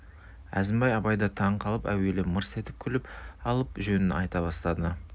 әзімбай абайды таң қылып әуелі мырс беріп күліп алып жөнін айта бастады